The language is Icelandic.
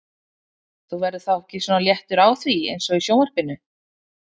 Þú verður þá ekki svona léttur á því eins og í sjónvarpinu?